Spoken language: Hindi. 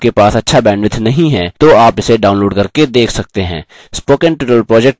यदि आपके पास अच्छा bandwidth नहीं है तो आप इसे download करके देख सकते हैं